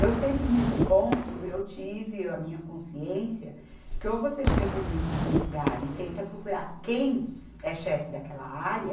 Eu sempre nesse ponto, eu tive a minha consciência, que ou você chega humilde num lugar e tenta procurar quem é chefe daquela área,